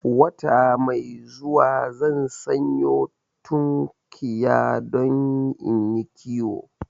Wata mai zuwa zan sanyo tunkiya don inyi kiwo